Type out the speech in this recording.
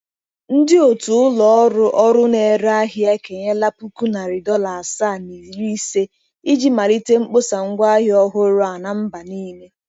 Ndị otu ụlọ ọrụ ọrụ na-ere ahịa ekenyela puku nari dọla asaa na iri-ise, iji malite mkpọsa ngwaahịa ọhụrụ a na mba niile.